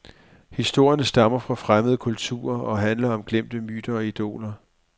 Historierne stammer fra fremmede kulturer og handler om glemte myter og idoler.